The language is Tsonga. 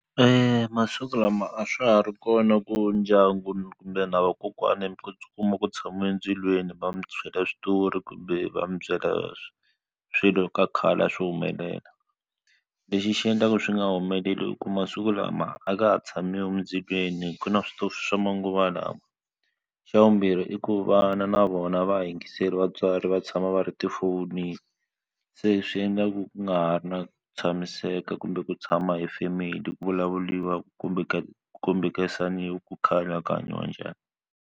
Eya masiku lama a swa ha ri kona ku ndyangu kumbe na vakokwani mi kuma ku tshama endzilweni va mi byela switori kumbe va mi byela swilo ka khale a swi humelela lexi xi endlaka swi nga humeleli u ku masiku lama a ka ha tshamiwi endzilweni ku na switofu swa manguva lawa xa vumbirhi i ku vana na vona a va ha yingiseli vatswari va tshama va va ri tifonini se swi endlaku ku nga ha ri na tshamiseka kumbe ku tshama hi family ku vulavuriwa ku kombekisaniwa ku khale a ku hanyiwa njhani.